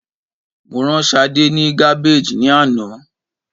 Mo rán Sadé ni Gabbage ni ana